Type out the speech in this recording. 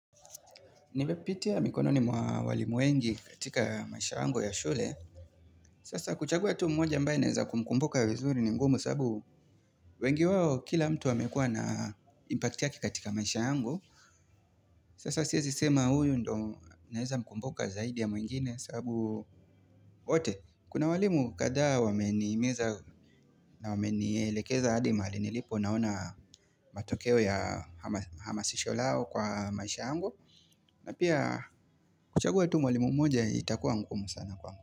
Nimepitia mikononi mwa walimu wengi katika maisha yangu ya shule. Sasa kuchagua tu mmoja ambaye naweza kumkumbuka vizuri ni ngumu sababu wengi wao kila mtu amekuwa na impact yake katika maisha yangu. Sasa siwezi sema huyu ndo naweza mkumbuka zaidi ya mwingine sababu wote. Kuna walimu kadhaa wamenihimiza na wamenielekeza hadi mahali nilipo naona matokeo ya hamasisho lao kwa maisha yangu. Na pia kuchagua tu mwalimu mmoja itakuwa ngumu sana kwangu.